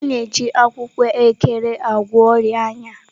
A na-eji akwụkwọ Ekere gwọọ ọrịa anya.